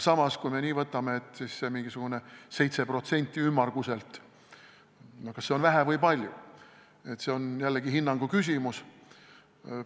Kas see mingisugune ümmarguselt 7% on vähe või palju, on jällegi hinnangu küsimus.